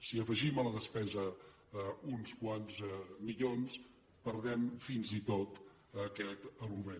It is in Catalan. si afegim a la despesa uns quants milions perdem fins i tot aquest argument